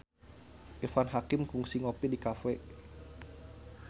Irfan Hakim kungsi ngopi di cafe